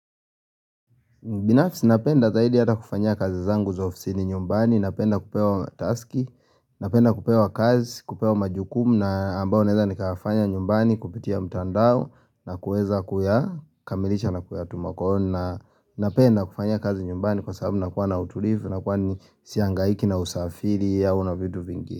Binafisi napenda zaidi hata kufanya kazi zangu za ofisini nyumbani, napenda kupewa taski, napenda kupewa kazi, kupewa majukumu na ambao naeza nikafanya nyumbani kupitia mtandao na kueza kuyakamilisha na kuyatuma kwa hio na napenda kufanya kazi nyumbani kwa sababu nakuwa na utulivu na kwani siangaiki na usafiri au na vitu vingi.